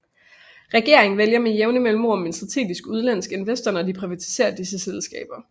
Regeringen vælger med jævne mellemrum en strategisk udenlandsk investor når de privatiserer disse selskaber